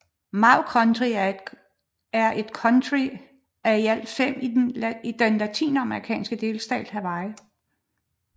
Maui County er et county af i alt fem i den amerikanske delstat Hawaii